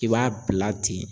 I b'a bila ten